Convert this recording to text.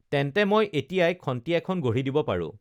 তেন্তে মই এতিয়াই খন্তি এখন গঢ়ি দিব পাৰো